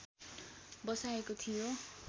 बसाएको थियो